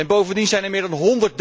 Bovendien zijn er meer dan